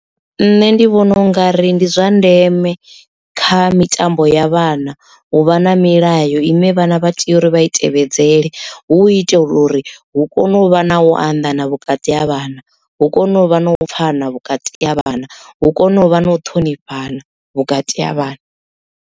Nṋe ndi vhona ungari ndi zwa ndeme kha mitambo ya vhana u vha na milayo ine vhana vha tea uri vha i tevhedzele hu itela uri hu kone u vha na u anḓana vhukati ha vhana hu kone u vha no pfana vhukati ha vhana hu kone u vha na u ṱhonifhana vhukati ha vhana.